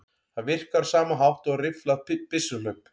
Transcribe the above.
Það virkar á sama hátt og rifflað byssuhlaup.